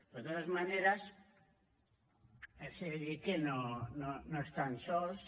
de totes maneres els he de dir que no estan sols